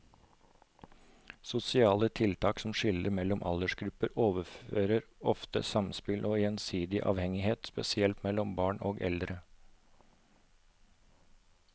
Sosiale tiltak som skiller mellom aldersgrupper overser ofte samspill og gjensidig avhengighet, spesielt mellom barn og eldre.